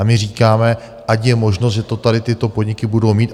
A my říkáme - ať je možnost, že to tady tyto podniky budou mít.